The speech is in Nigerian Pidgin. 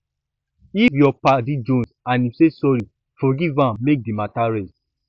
if yur paddy jonze and em say sorry forgiv am mek di mata rest